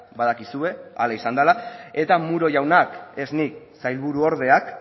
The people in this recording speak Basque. badakizue hala izan dela eta muro jaunak ez nik sailburuordeak